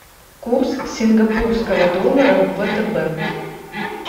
курс сингапурского доллара в втб